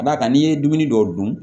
Ka d'a kan n'i ye dumuni dɔw dun